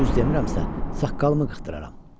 Düz demirəmsə, saqqalımı qıxdıraram.